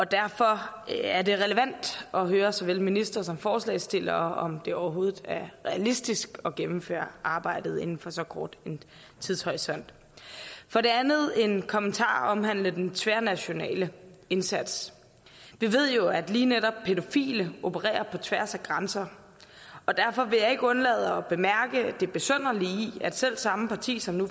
derfor er det relevant at høre såvel ministeren som forslagsstillerne om det overhovedet er realistisk at gennemføre arbejdet inden for så kort en tidshorisont for det andet har jeg en kommentar omhandlende den tværnationale indsats vi ved jo at lige netop pædofile opererer på tværs af grænser og derfor vil jeg ikke undlade at bemærke det besynderlige i at selv samme parti som nu